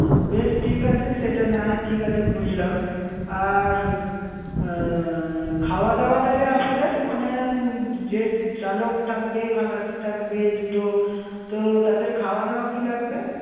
বেশ ঠিক আছে। সেটা নাহয় ঠিক আছে বুঝলাম। আর আহ খাওয়া দাওয়া তাহলে আপনাদের মানে যে চালক থাকবে, খালাসি থাকবে, দুটো তো তাদের খওয়া দাওয়া কী লাগবে?